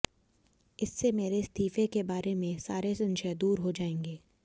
इससे मेरे इस्तीफे के बारे में सारे संशय दूर हो जाएंगे